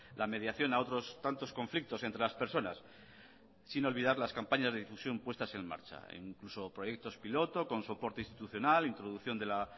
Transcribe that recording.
la mediación a otros tantos conflictos entre las personas sin olvidar las campañas de difusión puestas en marcha incluso proyectos piloto con soporte institucional introducción de la